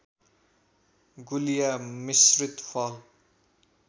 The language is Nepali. गुलिया मिश्रित फल